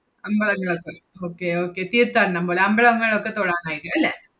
അമ്പലങ്ങളൊക്കെ okay okay തീർത്ഥാടനം പോലെ. അമ്പലങ്ങളിലോക്കെ തൊഴാനായിട്ട് അല്ലെ?